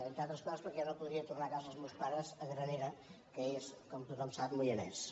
entre altres coses perquè jo no podria tornar a casa els meus pares a granera que és com tothom sap moianès